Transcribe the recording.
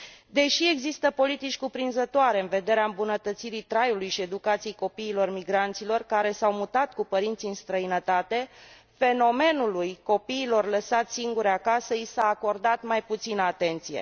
Deși există politici cuprinzătoare în vederea îmbunătățirii traiului și educației copiilor migranților care s au mutat cu părinții în străinătate, fenomenului copiilor lăsați singuri acasă i s a acordat mai puțină atenție.